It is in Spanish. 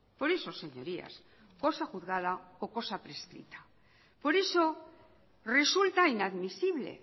por eso señorías cosa juzgada o cosa prescrita por eso resulta inadmisible